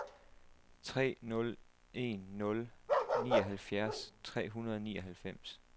tre nul en nul nioghalvfjerds tre hundrede og nioghalvfems